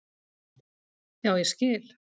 Já, ég skil